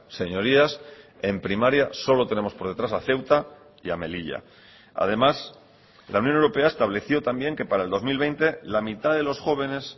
señorías en primaria solo tenemos por detrás a ceuta y a melilla además la unión europea estableció también que para el dos mil veinte la mitad de los jóvenes